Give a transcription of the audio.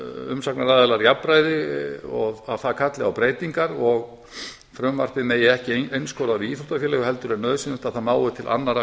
umsagnaraðilar jafnræði og það kalli á breytingar og frumvarpið megi ekki einskorða við íþróttafélög heldur er nauðsynlegt að það nái til annarra